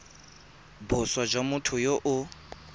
boswa jwa motho yo o